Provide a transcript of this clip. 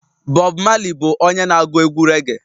Bob Marley bụ onye na agu egwu reage